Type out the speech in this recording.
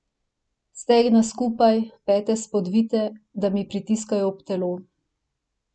Stegna skupaj, pete spodvite, da mi pritiskajo ob telo.